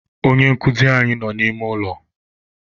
Onye nkụzi anyị nọ n'ime ụlọ.